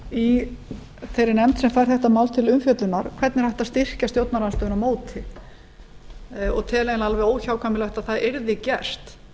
í þeirri nefnd sem fær þetta mál til umfjöllunar hvernig er hægt að styrkja stjórnarandstöðuna á móti og tel eiginlega alveg óhjákvæmilegt að það yrði gert